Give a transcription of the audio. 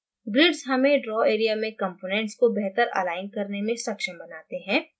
grids हमें draw area में components को बेहतर अलाइन करने में सक्षम बनाते हैं